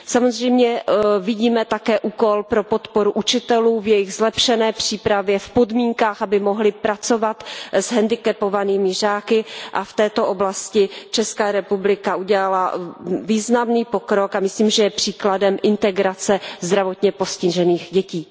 Samozřejmě vidíme také úkol pro podporu učitelů v jejich zlepšené přípravě, v podmínkách, aby mohli pracovat s hendikepovanými žáky, a v této oblasti Česká republika udělala významný pokrok a myslím, že je příkladem integrace zdravotně postižených dětí.